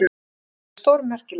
Það væri stórmerkilegt.